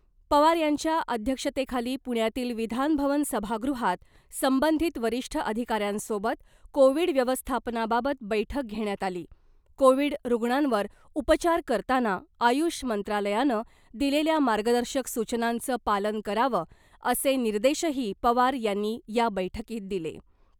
पवार यांच्या अध्यक्षतेखाली पुण्यातील विधानभवन सभागृहात संबंधित वरिष्ठ अधिकाऱ्यांसोबत कोविड व्यवस्थापनाबाबत बैठक घेण्यात आली , कोविड रुग्णांवर उपचार करताना आयुष मंत्रालयानं दिलेल्या मार्गदर्शक सूचनांचं पालन करावं असे निर्देशही पवार यांनी या बैठकीत दिले .